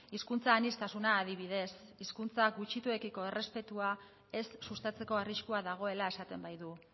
hizkuntza aniztasuna adibidez hizkuntza gutxituekiko errespetua ez sustatzeko arriskua dagoela esaten baitu